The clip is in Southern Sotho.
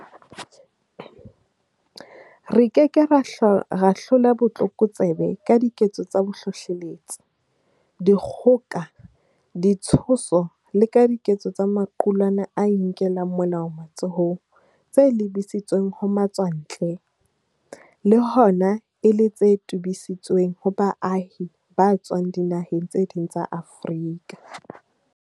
Re ke ke ra hlola botlokotsebe ka diketso tsa bohlohleletsi, dikgoka, ditshoso le ka diketso tsa maqulwana a inkelang molao matsohong tse lebisitsweng ho matswantle, le hona e le tse tobisitsweng ho baahi ba tswang dinaheng tse ding tsa Afrika.